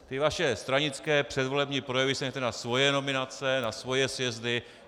Ty vaše stranické předvolební projevy si nechte na svoje nominace, na svoje sjezdy.